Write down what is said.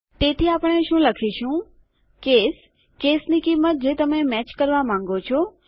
તેથી આપણે શું લખીશું કેસ કેસની કિંમત જે તમે મેચ કરવા માંગો છો